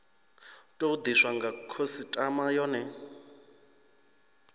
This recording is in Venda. tou diswa nga khasitama yone